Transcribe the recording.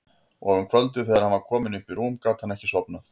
Og um kvöldið þegar hann var kominn upp í rúm gat hann ekki sofnað.